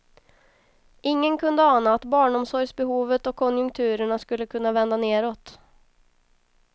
Ingen kunde ana att barnomsorgsbehovet och konjunkturerna skulle kunna vända nedåt.